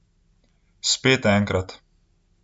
Spet enkrat.